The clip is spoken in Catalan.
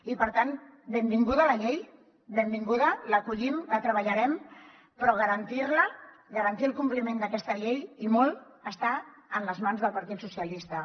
i per tant benvinguda la llei benvinguda l’acollim la treballarem però garantir la garantir el compliment d’aquesta llei i molt està en les mans del partit socialistes